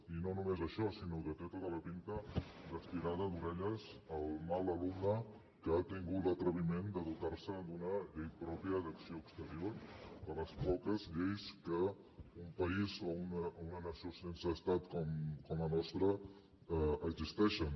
i no només això sinó que té tota la pinta d’estirada d’orelles al mal alumne que ha tingut l’atreviment de dotar se d’una llei pròpia d’acció exterior de les poques lleis que a un país o una nació sense estat com la nostra existeixen